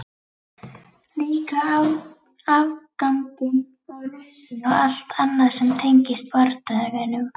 Líka afganginn af nestinu og allt annað sem tengdist bardaganum.